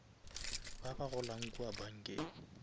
ba ba golang kua bankeng